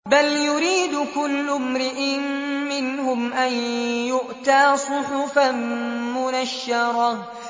بَلْ يُرِيدُ كُلُّ امْرِئٍ مِّنْهُمْ أَن يُؤْتَىٰ صُحُفًا مُّنَشَّرَةً